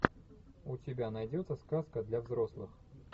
у тебя найдется сказка для взрослых